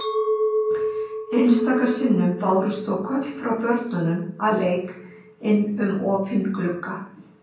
Einstaka sinnum bárust þó köll frá börnum að leik inn um opinn glugga.